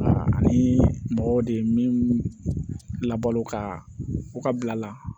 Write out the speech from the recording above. Ani mɔgɔw de min labo ka u ka bila la